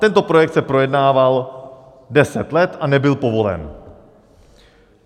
Tento projekt se projednával 10 let a nebyl povolen.